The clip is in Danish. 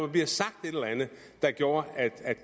blevet sagt et eller andet der gjorde